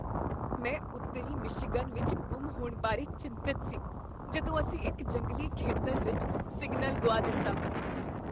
ਮੈਂ ਉੱਤਰੀ ਮਿਸ਼ੀਗਨ ਵਿੱਚ ਗੁੰਮ ਹੋਣ ਬਾਰੇ ਚਿੰਤਤ ਸੀ ਜਦੋਂ ਅਸੀਂ ਇੱਕ ਜੰਗਲੀ ਖੇਤਰ ਵਿੱਚ ਸਿਗਨਲ ਗੁਆ ਦਿੱਤਾ।